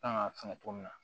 Kan ka fɛngɛ cogo min na